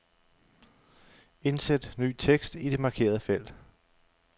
Indsæt ny tekst i det markerede felt.